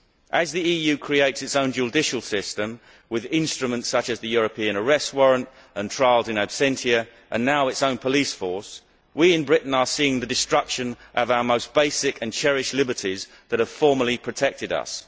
As the EU creates its own judicial system with instruments such as the European arrest warrant and trials in absentia, and now its own police force, we in Britain are seeing the destruction of our most basic and cherished liberties that have formerly protected us.